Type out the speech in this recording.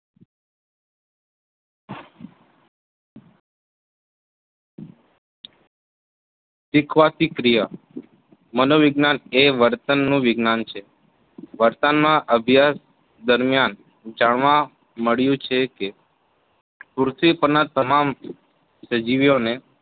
શીખવની ક્રિયા મનોવિજ્ઞાન એ વર્તન નું વિજ્ઞાન છે વર્તન માં અભ્યાસ દરમ્યાન જાણવા મળ્યું છે કે પૃથ્વી પરના તમામ સજીવીઓને